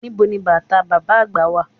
Nibo ni bàtà bàbá àgbà wà?